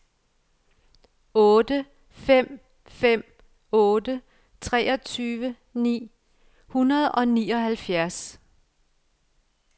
otte fem fem otte treogtyve ni hundrede og nioghalvfjerds